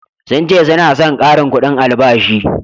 sun ce suna San karin kudin albashi